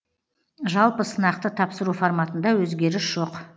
жалпы сынақты тапсыру форматында өзгеріс жоқ